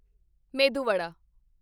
ਮੇਦੂ ਵਡਾ